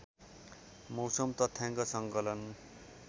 मौसम तथ्याङ्क सङ्कलन